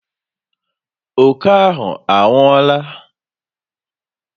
Oke ahụ anwụọla?